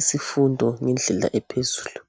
isifundo ngendlela ephezulu